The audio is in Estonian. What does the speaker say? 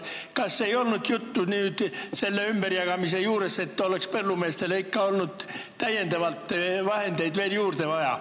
Kas nüüd selle ümberjagamise juures ei olnud juttu sellest, et põllumeestele oleks olnud vaja vahendeid veel juurde?